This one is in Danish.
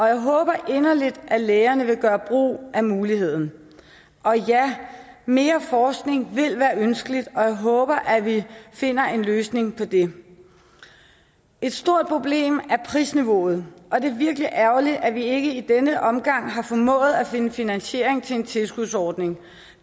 jeg håber inderligt at lægerne vil gøre brug af muligheden og ja mere forskning ville være ønskeligt og jeg håber at vi finder en løsning på det et stort problem er prisniveauet og det er virkelig ærgerligt at vi ikke i denne omgang har formået at finde finansiering til en tilskudsordning